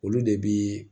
Olu de bi